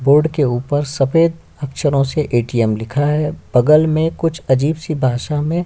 Board के ऊपर सफेद अक्षरों से ए. टी. एम लिखा है बगल में कुछ अजीब सी भाषा में--